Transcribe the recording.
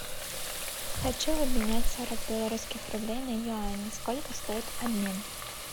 хочу обменять сорок белорусских рублей на юани сколько стоит обмен